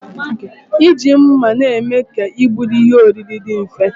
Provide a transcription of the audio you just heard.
Iji mma na-eme ka igburi ihe oriri dị mfe